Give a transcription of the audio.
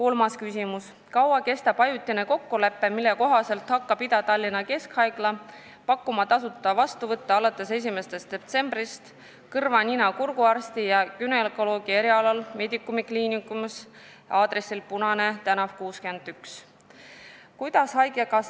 " Kolmas küsimus: "Kui kaua kestab ajutine kokkulepe, mille kohaselt hakkab Ida-Tallinna Keskhaigla pakkuma tasuta vastuvõtte alates 1. detsembrist kõrva-nina-kurguarsti ja günekoloogi erialal Medicumi kliinikus Punane tn 61?